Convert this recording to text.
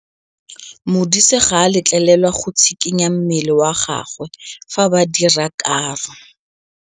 Modise ga a letlelelwa go tshikinya mmele wa gagwe fa ba dira karô.